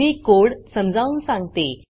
मी code समजावून सांगते